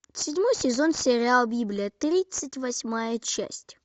седьмой сезон сериал библия тридцать восьмая часть